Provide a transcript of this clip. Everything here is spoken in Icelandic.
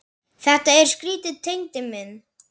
Þetta er skrýtið Tengdi minn.